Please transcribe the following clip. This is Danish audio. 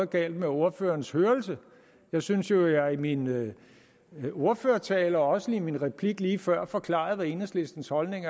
galt med ordførerens hørelse jeg synes jo at jeg i min min ordførertale og også i min replik lige før forklarede hvad enhedslistens holdning